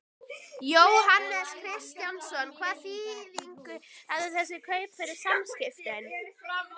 Jóhannes Kristjánsson: Hvaða þýðingu hafa þessi kaup fyrir Samskip?